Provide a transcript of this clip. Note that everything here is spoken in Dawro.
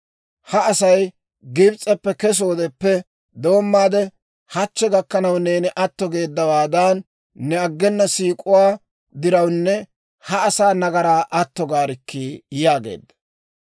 Ha Asay Gibs'eppe kesoodeppe doommaade hachchi gakkanaw neeni atto geeddawaadan, ne aggena siik'uwaa daruwaan ha asaa nagaraa atto gaarikkii!» yaageedda.